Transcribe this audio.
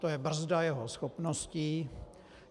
To je brzda jeho schopností.